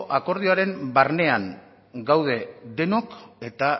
akordioaren barnean gaude denok eta